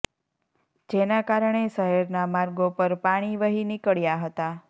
જેના કારણે શહેરના માર્ગો પર પાણી વહી નીકળ્યા હતા